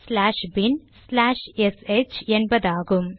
slash bin slash S H என்பதாகும்